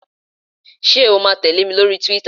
Ṣé o ma tẹ̀lé mi lórí túwítà?